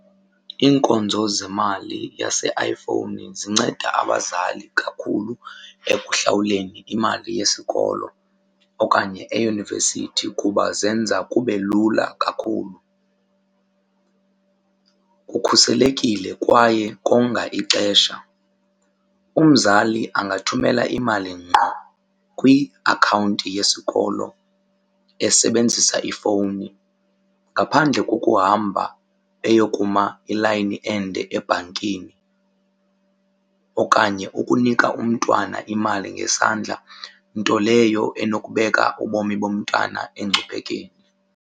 Iinkonzo zemali yaseiPhone zinceda abazali kakhulu ekuhlawuleni imali yesikolo okanye eyunivesithi kuba zenza kube lula kakhulu. Kukhuselekile kwaye konga ixesha. Umzali angathumela imali ngqo kwiakhawunti yesikolo esebenzisa ifowuni ngqo ngaphandle kokuhamba eyokuma ilayini ende ebhankini okanye ukunika umntwana imali ngesandla, nto leyo enokubeka ubomi bomntwana engcuphekweni.